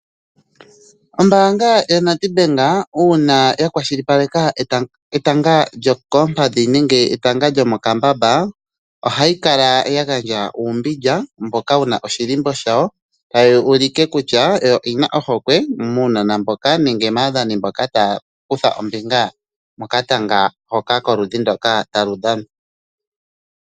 Ombaanga yaNEDBANK uuna ya kwashilipaleka etanga lyokoompadhi nenge lyomokambamba, ohayi kala ya gandja uumbilya mboka wuna oshilimbo shawo, tayi u like kutya oyo yi na ohokwe muunona mboka nenge maadhani mboka taya kutha oombinga mokatanga hoka koludhi ndoka talu dhanwa.